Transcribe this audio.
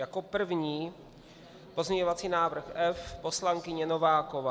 Jako první pozměňovací návrh F, poslankyně Nováková.